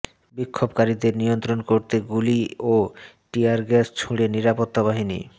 বিক্ষোভকারীদের নিয়ন্ত্রণ করতে গুলি ও টিয়ার গ্যাস ছুড়ে নিরাপত্তা বাহিনী